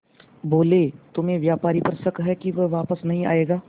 बोले तुम्हें व्यापारी पर शक है कि वह वापस नहीं आएगा